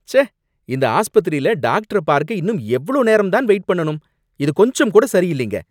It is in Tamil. ச்சே! இந்த ஆஸ்பத்திரில டாக்டர பார்க்க இன்னும் எவ்ளோ நேரம் தான் வெயிட் பண்ணனும், இது கொஞ்சம் கூட சரி இல்லங்க.